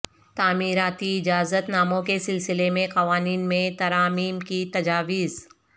تعمیراتی اجازت ناموں کے سلسلہ میں قوانین میں ترامیم کی تجاویز